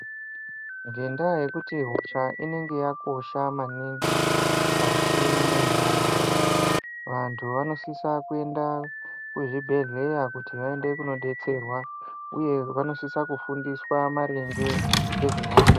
Ngendaa yekuti hosha inenge yakosha maningi mukati mentaraunda, vantu vanosisa kuenda kuzvibhedhlera kuti vaende kunodetserwa, uye vanosisa kufundiswa maringe ngezvehosha.